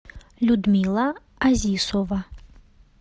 людмила азисова